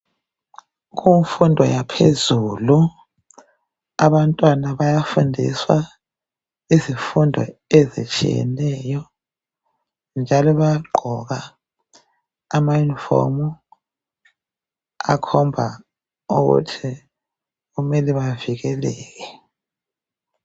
Kumfundo yaphezulu, abanttwana bayafundiswa izifundo ezitshiyeneyo, njalo bayagqoka ama- uniform, akhomba ukuthi kumele bavikeleke.